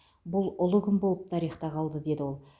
бұл ұлы күн болып тарихта қалды деді ол